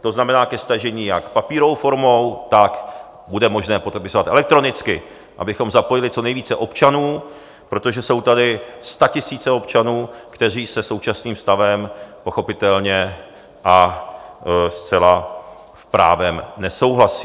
to znamená ke stažení jak papírovou formou, tak bude možné podepisovat elektronicky, abychom zapojili co nejvíce občanů, protože jsou tady statisíce občanů, kteří se současným stavem pochopitelně a zcela právem nesouhlasí.